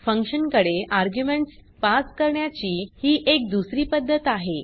function कडे arguments pass करण्याची ही एक दुसरी पद्धत आहे